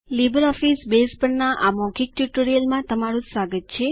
LibreOffice Base પરનાં આ મૌખિક ટ્યુટોરીયલમાં તમારું સ્વાગત છે